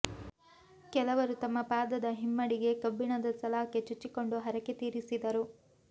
ಕೆಲವರು ತಮ್ಮ ಪಾದದ ಹಿಮ್ಮಡಿಗೆ ಕಬ್ಬಿಣದ ಸಲಾಕೆ ಚುಚ್ಚಿಕೊಂಡು ಹರಕೆ ತೀರಿಸಿದರು